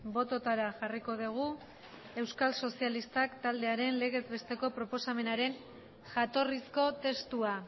bototara jarriko dugu euskal sozialistak taldearen legez besteko proposamenaren jatorrizko testua